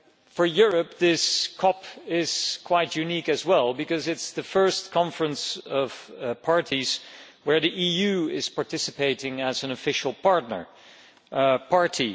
For Europe, this CoP is quite unique as well because it is the first Conference of the Parties in which the EU is participating as an official partner party.